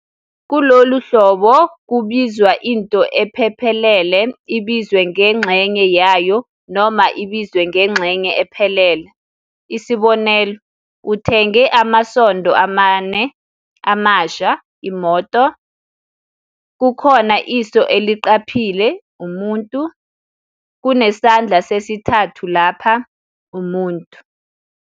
Kulolu hlobo kubizwa into ephephelele ibizwe ngengxenye yayo noma ibizwe ngengxenye ephelele. Isbonelo- uthenge amasondo amane amasha, imoto, kukhona iso eliqhaphle, umuntu, kunesandla sesithathu lapha, umuntu.